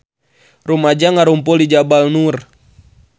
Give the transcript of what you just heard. Rumaja ngarumpul di Jabal Nur